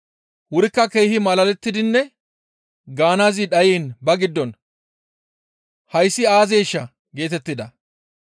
Wurikka keehi malalettidinne gaanaazi dhayiin ba giddon, «Hayssi aazeeshaa?» geetettida.